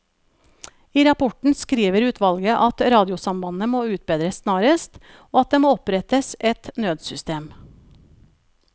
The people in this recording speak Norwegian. I rapporten skriver utvalget at radiosambandet må utbedres snarest, og at det må opprettes et nødsystem.